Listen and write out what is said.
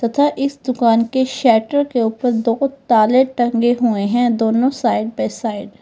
तथा इस दुकान के शटर के ऊपर दो ताले टंगे हुए हैं दोनों साइड बाई साइड ।